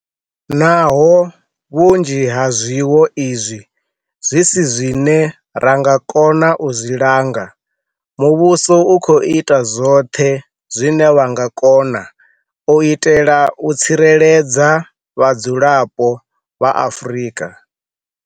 Naho vhunzhi ha zwiwo izwi zwi si zwine ra nga kona u zwi langa, muvhuso u khou ita zwoṱhe zwine wa nga kona u itela u tsireledza vhadzulapo vha Afrika